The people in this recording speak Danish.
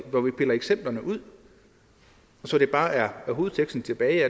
hvor vi piller eksemplerne ud så der bare er hovedteksten tilbage